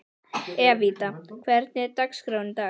Evíta, hvernig er dagskráin í dag?